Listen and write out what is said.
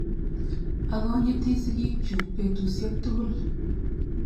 Akonyiti sigik chuk petusyek tukul